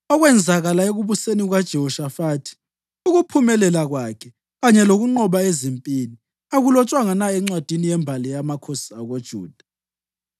Okwenzakala ekubuseni kukaJehoshafathi, ukuphumelela kwakhe kanye lokunqoba ezimpini, akulotshwanga na encwadini yembali yamakhosi akoJuda?